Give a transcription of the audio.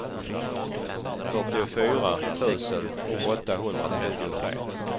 fyrtiofyra tusen åttahundratrettiotre